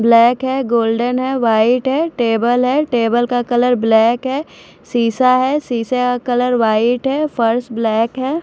Black है golden है white है टेबल है टेबल का कलर ब्लैक है शीशा है शीशे का कलर व्हाईट है फर्श ब्लैक है।